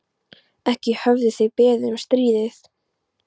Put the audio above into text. Ekki höfðu þeir beðið um stríðið.